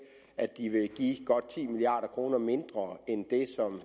at de vil give godt ti milliard kroner mindre end det som